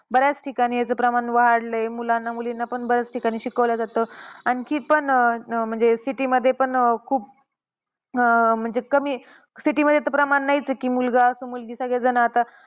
बऱ्याच ठिकाणी ह्याचं प्रमाण वाढलंय. मुलानं मुलींना पण बऱ्याच ठिकाणी शिकवलं जातं. आणखी पण अह म्हणजे city मध्ये पण अं खूप कमी म्हणजे city मध्ये प्रमाण तर नाहीच आहे मुलगा असो मुलगी सगळे जण आता